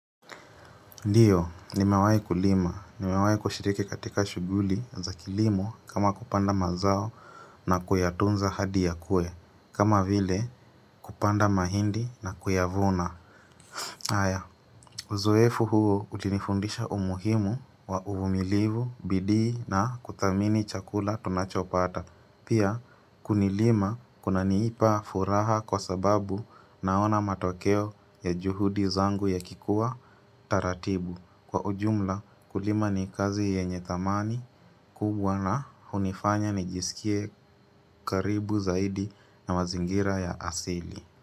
Ndiyo, nimewahi kulima. Nimewahi kushiriki katika shughuli za kilimo kama kupanda mazao na kuyatunza hadi yakue. Kama vile kupanda mahindi na kuyavuna. Haya, uzoefu huu ulinifundisha umuhimu wa uvumilivu, bidii na kudhamini chakula tunachopata. Pia, kulima kuna nipa furaha kwa sababu naona matokeo ya juhudi zangu yakikuwa taratibu. Kwa ujumla, kulima ni kazi yenye dhamani kubwa na hunifanya nijisikie karibu zaidi na mazingira ya asili.